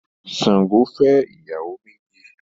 Sango fẹ́ ìyàwó méjì